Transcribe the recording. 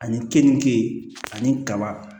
Ani keninke ani kaba